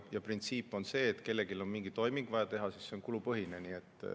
Ja printsiip on see, et kui kellelgi on mingi toiming vaja teha, siis see on kulupõhine.